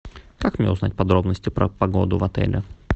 как мне узнать подробности про погоду в отеле